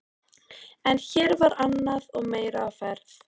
En hér var annað og meira á ferð.